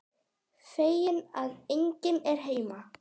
Feginn að enginn er heima.